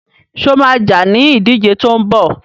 Sọ ma jà ní ìdíje tó ń bọ̀?